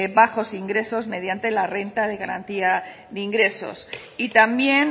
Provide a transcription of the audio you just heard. bajos ingresos mediante la renta de garantía de ingresos y también